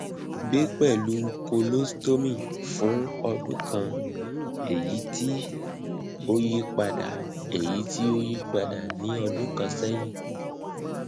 gbe pẹlu colostomy fun ọdun kan eyiti o yipada eyiti o yipada ni ọdun kan sẹyin